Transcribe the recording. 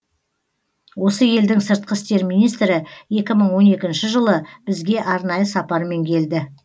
осы елдің сыртқы істер министрі екі мың он екінші жылы бізге арнайы сапармен келді